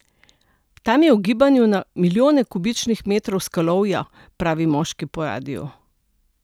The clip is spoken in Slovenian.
Tam je v gibanju na milijone kubičnih metrov skalovja, pravi moški po radiu.